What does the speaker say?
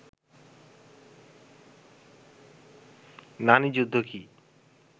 নানি যুদ্ধ কী